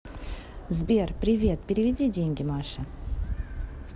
сбер привет переведи деньги маше